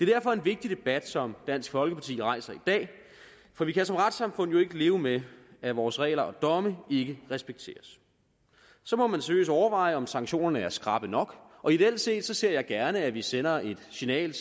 derfor en vigtig debat som dansk folkeparti rejser i dag for vi kan som retssamfund jo ikke leve med at vores regler og domme ikke respekteres så må man seriøst overveje om sanktionerne er skrappe nok og ideelt set ser jeg gerne at vi sender et signal